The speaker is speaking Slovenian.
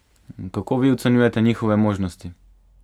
Kako vi ocenjujete njihove možnosti?